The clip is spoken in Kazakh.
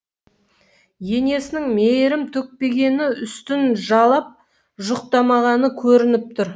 енесінің мейірім төкпегені үстін жалап жұқтамағаны көрініп тұр